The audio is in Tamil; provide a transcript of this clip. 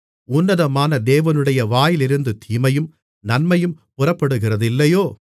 உன்னதமான தேவனுடைய வாயிலிருந்து தீமையும் நன்மையும் புறப்படுகிறதில்லையோ